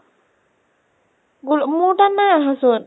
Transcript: গোল মোৰ তাত নাই আহা চোন।